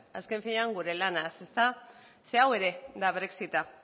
azken finean gure lanaz ezta zeren hau ere da brexita